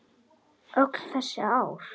Öll þessi ár?